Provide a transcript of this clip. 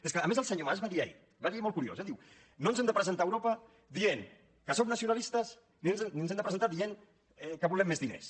és que a més el senyor mas va dir ahir va dir ahir i és molt curiós eh diu no ens hem de presentar a europa dient que som nacionalistes ni ens hem de presentar dient que volem més diners